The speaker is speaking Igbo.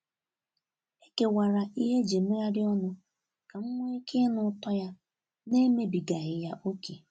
E kewara ihe eji emegharị ọnụ ka m nwee ike ịnụ ụtọ ya n'emebigaghị ya ókè.